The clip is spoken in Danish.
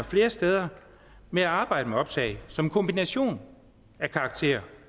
flere steder med at arbejde med optag som en kombination af karakterer